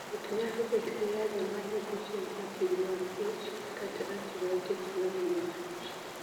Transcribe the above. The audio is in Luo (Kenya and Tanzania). Thieth nyalo bet gi yathe ma duoko chien acid mag ich, kata antibiotics ma nego H